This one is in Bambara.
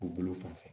U bolo fan fɛ